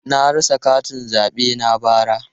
Na rasa katin zabe na bara.